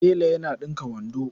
Tela yana ɗinka wando.